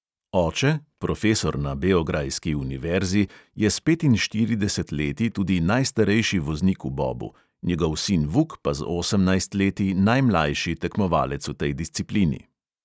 Oče, profesor na beograjski univerzi, je s petinštirideset leti tudi najstarejši voznik v bobu, njegov sin vuk pa z osemnajst leti najmlajši tekmovalec v tej disciplini.